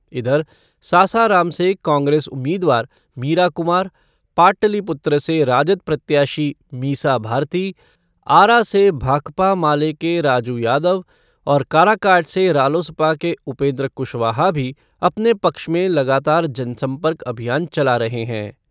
इधर, सासाराम से कांग्रेस उम्मीदवार मीरा कुमार, पाटलिपुत्र से राजद प्रत्याशी मीसा भारती, आरा से भाकपा माले के राजू यादव और काराकाट से रालोसपा के उपेन्द्र कुशवाहा भी अपने पक्ष में लगातार जनसंपर्क अभियान चला रहे हैं।